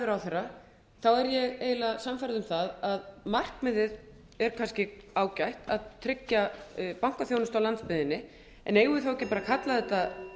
ráðherra er ég eiginlega sannfærð um að markmiðið er kannski ágætt að tryggja bankaþjónustu á landsbyggðinni en eigum við þá ekki að kalla þetta